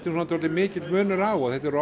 er orðinn dálítið mikill munur á og þetta er